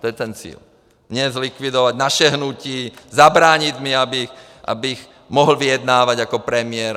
To je ten cíl - mě zlikvidovat, naše hnutí, zabránit mi, abych mohl vyjednávat jako premiér.